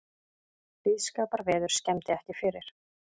Blíðskaparveður skemmdi ekki fyrir